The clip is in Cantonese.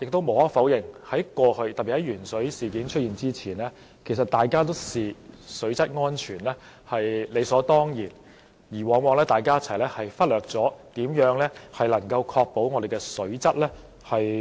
無可否認，在過去，特別是鉛水事件發生前，我們都視水質安全為理所當然，於是往往忽略如何確保水質安全。